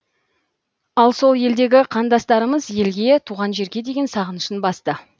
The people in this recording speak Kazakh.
ал сол елдегі қандастарымыз елге туған жерге деген сағынышын басты